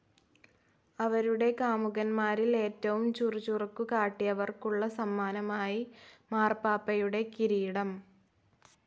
അവരുടെ കാമുകന്മാരിൽ ഏറ്റവും ചുറുചുറുക്കു കാട്ടിയവർക്കുള്ള സമ്മാനമായി മാർപ്പാപ്പയുടെ കിരീടം...........